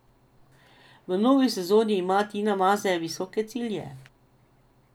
V novi sezoni ima Tina Maze visoke cilje.